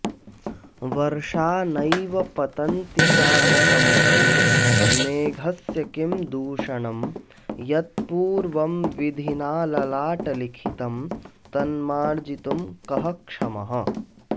वर्षा नैव पतन्ति चातकमुखे मेघस्य किं दूषणं यत्पूर्वं विधिना ललाटलिखितं तन्मार्जितुं कः क्षमः